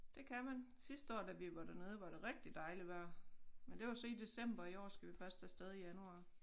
Det kan man sidste år da vi var dernede var det rigtig dejligt vejr men det var så i december i år skal vi først afsted i januar